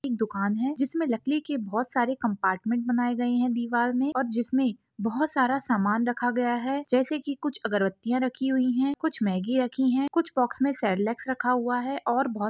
एक दुकान हैं लकड़ी के बहुत सारे कम्पार्टमेंट बनाया गया हैं दिन में और चित्र बहुत सारा सामान रखा हुआ हैं जैसे कुछ अगरबत्तियाँ रखी हुई हैं कुछ मेगी रैक हुई हैं कुछ बॉक्स मैं सेरेलेकस रखा हुआ हैं। और बहुत --